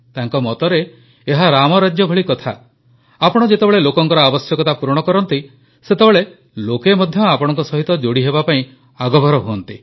ତାଙ୍କ ମତରେ ଏହା ରାମରାଜ୍ୟ ଭଳି କଥା ଆପଣ ଯେତେବେଳେ ଲୋକଙ୍କ ଆବଶ୍ୟକତା ପୂରଣ କରନ୍ତି ସେତେବେଳେ ଲୋକେ ମଧ୍ୟ ଆପଣଙ୍କ ସହିତ ଯୋଡ଼ି ହେବା ପାଇଁ ଆଗଭର ହୁଅନ୍ତି